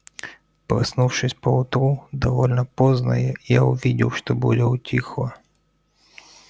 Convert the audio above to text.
проснувшись поутру довольно поздно я увидел что буря утихла